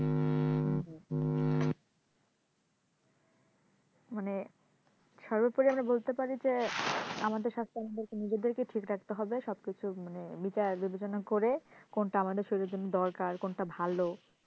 মানে সর্বোপরি আমরা বলতে পারি যে আমাদের স্বাস্থ্য আমাদের নিজেদেরকেই ঠিক রাখতে হবে সবকিছু মানে বিচার বিবেচনা যেন করে কোনটা আমাদের শরীরের জন্য দরকার কোনটা ভালো।